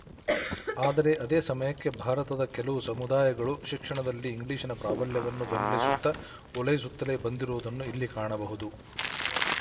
ಆದರೆ ಅದೇ ಸಮಯಕ್ಕೆ ಭಾರತದ ಕೆಲವು ಸಮುದಾಯಗಳು ಶಿಕ್ಷಣದಲ್ಲಿ ಇಂಗ್ಲಿಶಿನ ಪ್ರಾಬಲ್ಯವನ್ನು ಬೆಂಬಲಿಸುತ್ತ ಓಲೈಸುತ್ತಲೇ ಬಂದಿರುವುದನ್ನೂ ಇಲ್ಲಿ ಕಾಣಬಹುದು